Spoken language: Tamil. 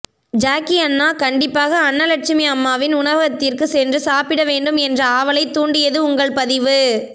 ஜாக்கி அண்ணா கண்டிப்பாக அன்னலட்சுமி அம்மாவின் உணவகத்திற்கு சென்று சாப்பிட வேண்டும் என்ற ஆவலை தூண்டியது உங்கள் பதிவு